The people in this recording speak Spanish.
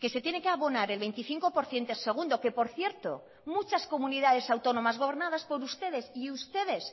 que se tiene que abonar el veinticinco por ciento segundo que por cierto muchas comunidades autónomas gobernadas por ustedes y ustedes